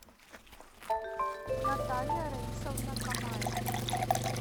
наталья раисовна камаева